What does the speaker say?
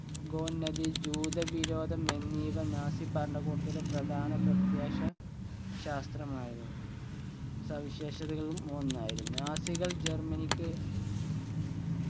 ഗോന്നതി ജൂതവിരോധം എന്നിവ നാസി ഭരണക്കൂടത്തിന്റെ പ്രധാന പ്രത്യാശ ശാസ്ത്രമായിരുന്നു സവിശേഷതകളും ഒന്നായിരുന്നു നാസികൾ ജർമനിക്ക്